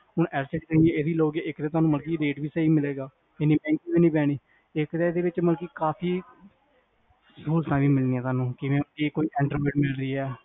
ਹੁਣ LCD ਤੁਸੀਂ ਇਹਦੀ ਲਓਗੇ ਇਕ ਤਾਂ ਤੁਹਾਨੂੰ ਮਤਲਬ ਕ rate ਵੀ ਸਹੀ ਮਿਲੇਗਾ ਇੰਨੀ ਦਿਕਤ ਵੀ ਨੀ ਪੈਣੀ ਇਕ ਨਾ ਇਹਦੇ ਵਿਚ ਮਤਲਬ ਕ ਕਾਫੀ ਸਹੂਲਤਾਂ ਮਿਲਣੀਆਂ ਜਿਵੇ ਇਹ ਕੋਈ centerplate